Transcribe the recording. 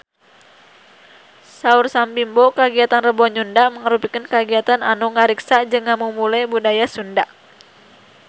Saur Sam Bimbo kagiatan Rebo Nyunda mangrupikeun kagiatan anu ngariksa jeung ngamumule budaya Sunda